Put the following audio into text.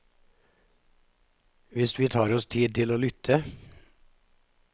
Hvis vi tar oss tid til å lytte.